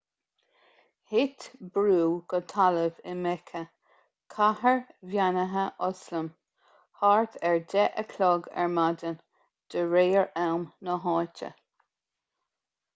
thit brú go talamh i meice cathair bheannaithe ioslam thart ar 10 a chlog ar maidin de réir am na háite